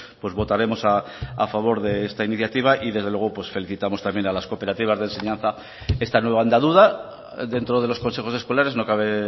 pues votaremos a favor de esta iniciativa y desde luego felicitamos también a las cooperativas de enseñanza esta nueva andadura dentro de los consejos escolares no cabe